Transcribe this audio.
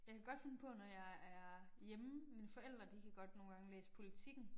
Jeg kan godt finde på når jeg er hjemme mine forældre de kan godt nogle gange læse Politiken